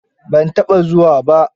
Ban taɓa zuwa ba.